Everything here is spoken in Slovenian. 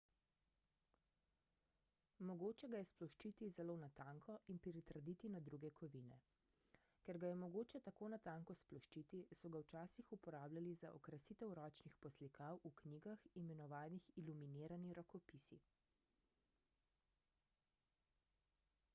mogoče ga je sploščiti zelo na tanko in pritrditi na druge kovine ker ga je mogoče tako na tanko sploščiti so ga včasih uporabljali za okrasitev ročnih poslikav v knjigah imenovanih iluminirani rokopisi